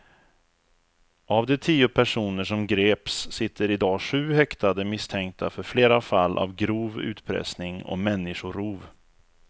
Av de tio personer som greps sitter i dag sju häktade misstänkta för flera fall av grov utpressning och människorov.